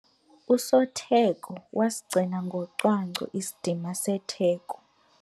Usotheko wasigcina ngocwangco isidima setheko.